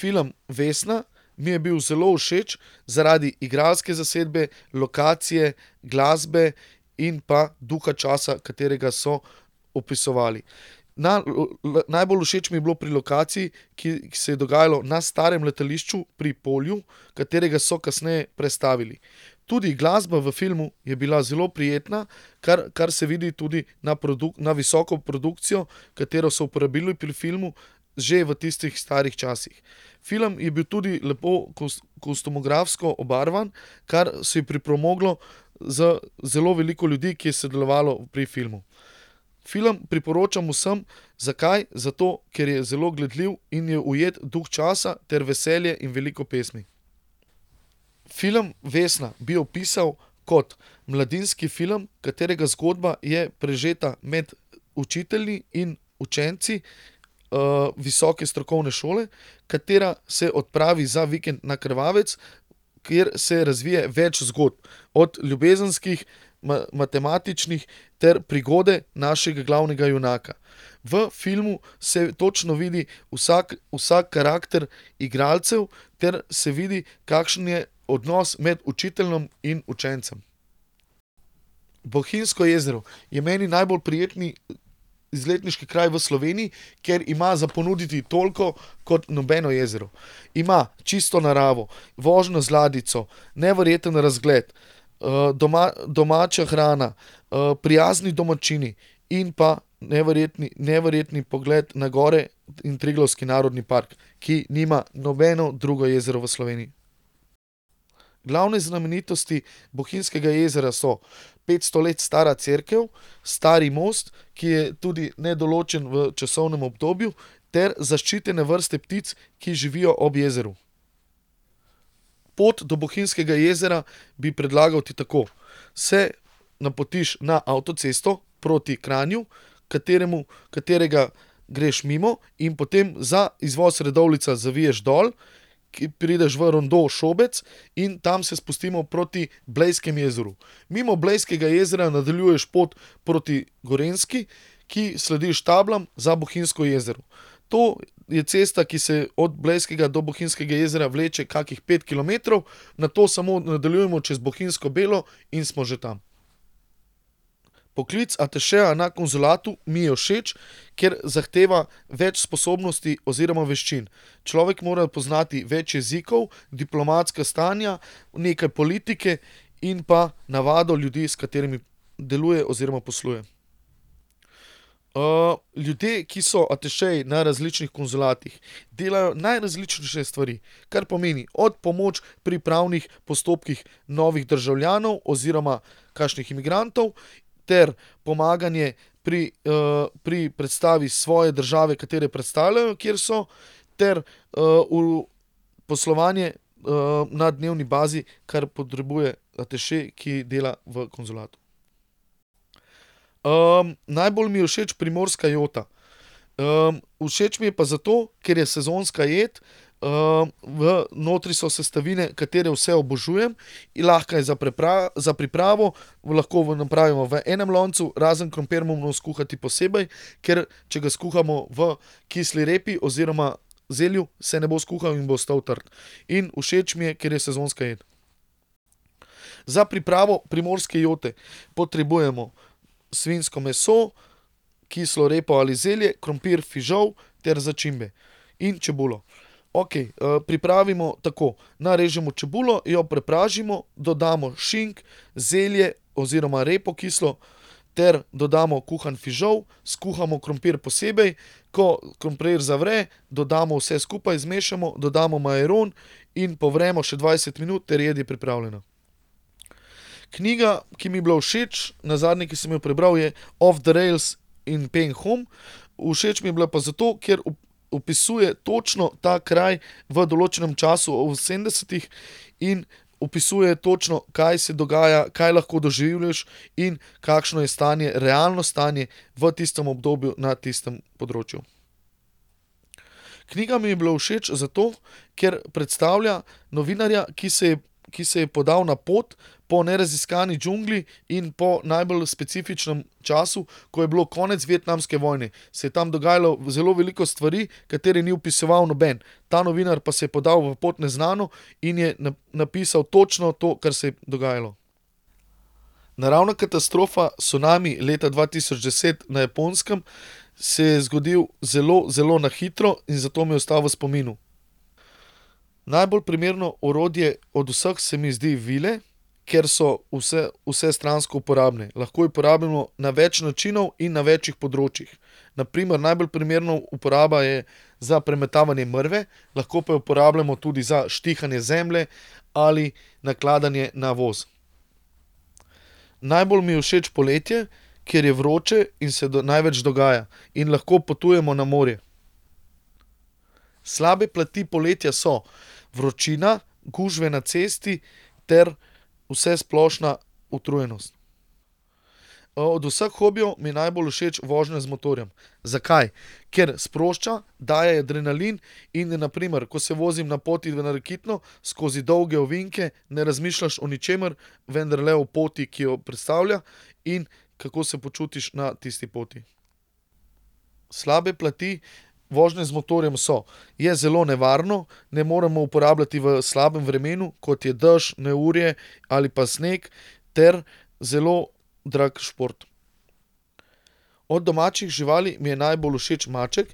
Film Vesna mi je bil zelo všeč zaradi igralske zasedbe, lokacije, glasbe in pa duha časa, katerega so opisovali. Na najbolj všeč mi je bilo pri lokaciji, ki, ke se je dogajalo na starem letališču pri Polju, katerega so kasneje prestavili. Tudi glasba v filmu je bila zelo prijetna, kar, kar se vidi tudi na na visoko produkcijo, katero so uporabili pri filmu že v tistih starih časih. Film je bil tudi lepo kostumografsko obarvan, kar si je pripomoglo z zelo veliko ljudmi, ki je sodelovalo pri filmu. Film priporočam vsem. Zakaj? Zato, ker je zelo gledljiv in je ujet duh časa ter veselje in veliko pesmi. Film Vesna bi opisal kot mladinski film, katerega zgodba je prežeta med učitelji in učenci, visoke strokovne šole, katera se odpravi za vikend na Krvavec, kjer se razvije več zgodb. Od ljubezenskih, matematičnih ter prigode našega glavnega junaka. V filmu se točno vidi, vsak, vsak karakter igralcev ter se vidi, kakšen je odnos med učiteljem in učencem. Bohinjsko jezero je meni najbolj prijeten izletniški kraj v Sloveniji, ker ima za ponuditi toliko kot nobeno jezero. Ima čisto naravo, vožnjo z ladjico, neverjeten razgled, domača hrana, prijazni domačini in pa neverjetni, neverjetni pogled na gore in Triglavski narodni park, ki nima nobeno drugo jezero v Sloveniji. Glavne znamenitosti Bohinjskega jezera so petsto let stara cerkev, stari most, ki je tudi nedoločen v časovnem obdobju, ter zaščitene vrste ptic, ki živijo ob jezeru. Pot do Bohinjskega jezera bi predlagal ti tako. Se napotiš na avtocesto proti Kranju, kateremu, katerega greš mimo, in potem za izvoz Radovljica zaviješ dol, ki prideš v rondo Šobec, in tam se spustimo proti Blejskemu jezeru. Mimo Blejskega jezera nadaljuješ pot proti Gorenjski, ki slediš tablam za Bohinjsko jezero. To je cesta, ki se od Blejskega do Bohinjskega jezera vleče kakih pet kilometrov. Nato samo nadaljujemo čez Bohinjsko Belo in smo že tam. Poklic atašeja na konzulatu mi je všeč, ker zahteva več sposobnosti oziroma veščin. Človek mora poznati več jezikov, diplomatska stanja, nekaj politike in pa navado ljudi, s katerimi deluje oziroma posluje. ljudje, ki so atašeji na različnih konzulatih, delajo najrazličnejše stvari. Kar pomeni od pomoči pri pravnih postopkih novih državljanov oziroma kakšnih imigrantov ter pomaganje pri, pri predstavi svoje države, katere predstavljajo, kjer so ter, poslovanje, na dnevni bazi, kar potrebuje ataše, ki dela v konzulatu. najbolj mi je všeč primorska jota. všeč mi je pa zato, ker je sezonska jed. v notri so sestavine, katere vse obožujem, in lahko je za pripravo, lahko napravimo v enem loncu, razen krompir moramo skuhati posebej, ker če ga skuhamo v kisli repi oziroma zelju, se ne bo skuhal in bo ostal trd. In všeč mi je, ker je sezonska jed. Za pripravo primorske jote potrebujemo svinjsko meso, kislo repo ali zelje, krompir, fižol ter začimbe. In čebulo. Okej, pripravimo tako, narežemo čebulo, jo prepražimo, dodamo šink, zelje oziroma repo, kislo, ter dodamo kuhan fižol, skuhamo krompir posebej. Ko krompir zavre, dodamo vse skupaj, zmešamo, dodamo majaron in povremo še dvajset minut ter jed je pripravljena. Knjiga, ki mi je bila všeč, nazadnje, ki sem jo prebral, je, Off the rails in Phnom Penh. Všeč mi je bila pa zato, ker opisuje točno ta kraj v določenem času v sedemdesetih in opisuje točno, kaj se dogaja, kaj lahko doživljaš in kakšno je stanje, realno stanje v tistem obdobju na tistem področju. Knjiga mi je bila všeč zato, ker predstavlja novinarja, ki se je, ki se je podal na pot po neraziskani džungli in po najbolj specifičnem času, ko je bilo konec vietnamske vojne, se je tam dogajalo zelo veliko stvari, katere ni opisoval noben. Ta novinar pa se je podal v pot v neznano in je napisal točno to, kar se je dogajalo. Naravna katastrofa cunami leta dva tisoč deset na Japonskem se je zgodil zelo, zelo na hitro in zato mi je ostal v spominu. Najbolj primerno orodje od vseh se mi zdijo vile. Ker so vsestransko uporabne. Lahko jih uporabimo na več načinov in na večih področjih. Na primer najbolj primerna uporaba je za premetavanje mrve, lahko pa jo uporabljamo tudi za štihanje zemlje, ali nakladanje na voz. Najbolj mi je všeč poletje, ker je vroče in se največ dogaja. In lahko potujemo na morje. Slabe plati poletja so vročina, gužve na cesti ter vsesplošna utrujenost. od vseh hobijev mi je najbolj všeč vožnja z motorjem. Zakaj? Ker sprošča, daje adrenalin in je na primer, ko se vozim na poti na Rakitno skozi dolge ovinke, ne razmišljaš o ničemer, vendar le o poti, ki jo predstavlja. In kako se počutiš na tisti poti. Slabe plati vožnje z motorjem so: je zelo nevarno, ne moremo uporabljati v slabem vremenu, kot je dež, neurje ali pa sneg ter zelo drag šport. Od domačih živali mi je najbolj všeč maček.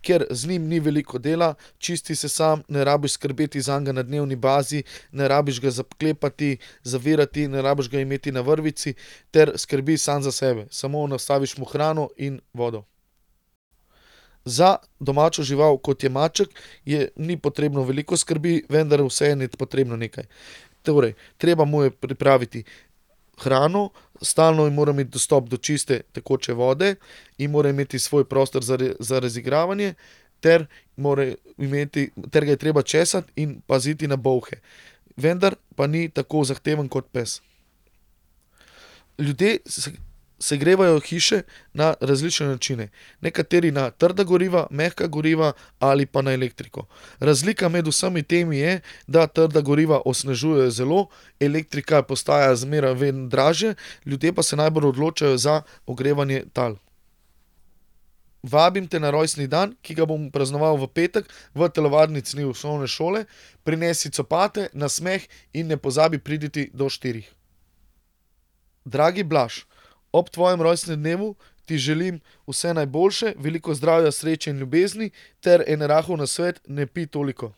Ker z njim ni veliko dela, čisti se sam, ne rabiš skrbeti zanj na dnevni bazi. Ne rabiš ga zaklepati, zavirati, ne rabiš ga imeti na vrvici. Ter skrbi samo za sebe. Samo nastaviš mu hrano in vodo. Za domačo žival, kot je maček, je, ni potrebno veliko skrbi, vendar vseeno je potrebno nekaj. Torej, treba mu je pripraviti hrano, stalno mora imeti dostop do čiste tekoče vode, in mora imeti svoj prostor za za razigravanje ter more imeti ter ga je treba česati in paziti na bolhe. Vendar pa ni tako zahteven kot pes. Ljudje segrevajo hiše na različne načine. Nekateri na trda goriva, mehka goriva ali pa na elektriko. Razlika med vsemi temi je, da trda goriva onesnažujejo zelo, elektrika postaja zmeraj dražje, ljudje pa se najbolj odločajo za ogrevanje tal. Vabim te na rojstni dan, ki ga bom praznovali v petek v telovadnici osnovne šole. Prinesi copate, nasmeh in ne pozabi priditi do štirih. Dragi Blaž, ob tvojem rojstnem dnevu ti želim vse najboljše, veliko zdravja, sreče in ljubezni ter en rahel nasvet: "Ne pij toliko."